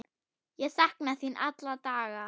Ég sakna þín alla daga.